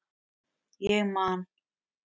Ég man